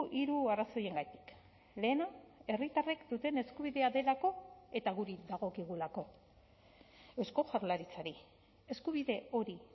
hiru arrazoiengatik lehena herritarrek duten eskubidea delako eta guri dagokigulako eusko jaurlaritzari eskubide hori